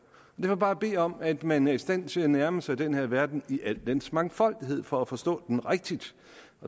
jeg bare bede om at man er i stand til at nærme sig den her verden i al dens mangfoldighed for at forstå den rigtigt